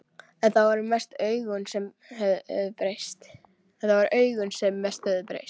En það voru augun sem mest höfðu breyst.